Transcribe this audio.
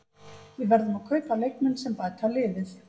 Við verðum að kaupa leikmenn sem bæta liðið.